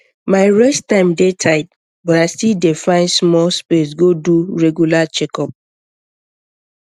my rest time dey tight but i still dey find small space go do regular checkup